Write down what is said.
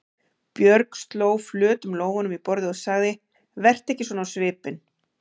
Björg sló flötum lófunum í borðið og sagði: Vertu ekki svona á svipinn.